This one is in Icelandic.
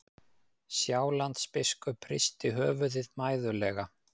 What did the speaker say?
Sjálandsbiskup hristi höfuðið mæðulega.